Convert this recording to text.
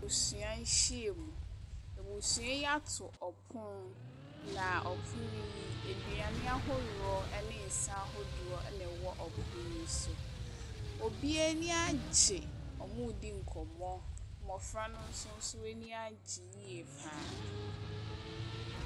Abusua nhyiamu, abusua yi atu ɔpon na ɔpon yi, aduane ahorow ɛne nsa horow ɛna ɛyɔ ɔpon yi so. Obia anigye, ɔmmu di nkɔmɔ. Mmɔfra no so so anigye yiye paa.